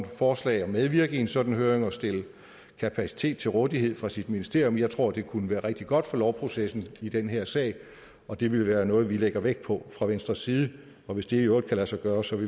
forslag og medvirke i en sådan høring og stille kapacitet til rådighed fra sit ministerium jeg tror at det kunne være rigtig godt for lovprocessen i den her sag og det vil være noget vi lægger vægt på fra venstres side hvis det i øvrigt kan lade sig gøre